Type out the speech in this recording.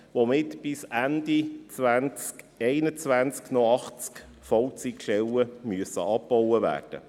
Damit müssen bis Ende 2021 noch 80 Vollzeitstellen abgebaut werden.